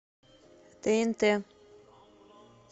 тнт